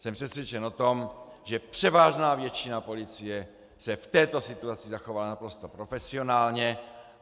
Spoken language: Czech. Jsem přesvědčen o tom, že převážná většina policie se v této situaci zachovala naprosto profesionálně.